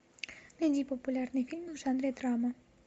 найди популярные фильмы в жанре драма